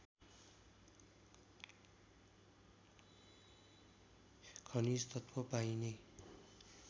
खनिज तत्त्व पाइने